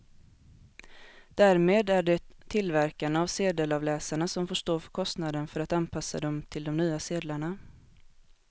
Därmed är det tillverkarna av sedelavläsarna som får stå för kostnaden för att anpassa dem till de nya sedlarna.